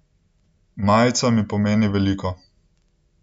Majica mi pomeni veliko.